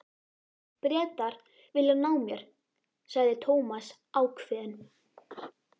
Bretar vilja ná mér sagði Thomas ákveðinn.